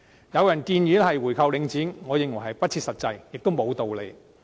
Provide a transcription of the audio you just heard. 有人建議購回領展，我認為不切實際，亦沒有道理。